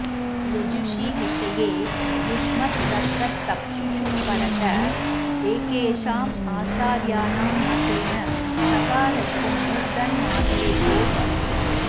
यजुषि विषये युष्मत्तत्ततक्षुःषु परत एकेषाम् आचार्याणां मतेन सकारस्य मूर्धन्यादेशो भवति